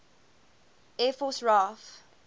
air force raaf